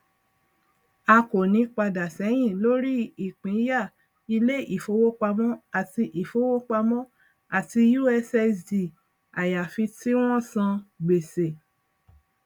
a kò ní padà ṣẹyìn lórí ìpínyà ilé ìfowópamọ àti ìfowópamọ àti ussd àyàfi tí wọn san gbèsè